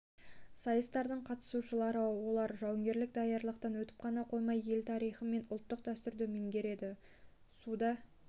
сайыстардың қатысушылары олар жауынгерлік даярлықтан өтіп қана қоймай ел тарихы мен ұлттық дәстүрді меңгереді суда